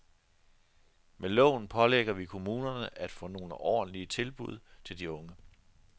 Med loven pålægger vi kommunerne at få nogle ordentlige tilbud til de unge.